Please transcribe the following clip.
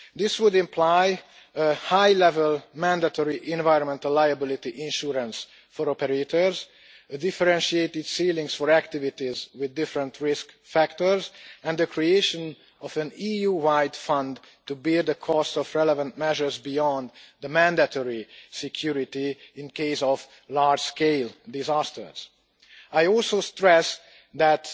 This would entail high level mandatory environmental liability insurance for operators, differentiated ceilings for activities with different risk factors and the creation of an EU-wide fund to bear the cost of relevant measures beyond the mandatory security in the event of large-scale disasters. I also stress